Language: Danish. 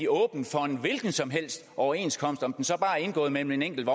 åbent for en hvilken som helst overenskomst om den så er indgået mellem en enkelt